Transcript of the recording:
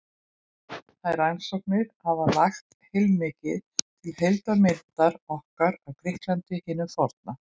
Þær rannsóknir hafa lagt heilmikið til heildarmyndar okkar af Grikklandi hinu forna.